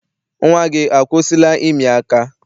Nnwa gị akwụsịla ịmị aka?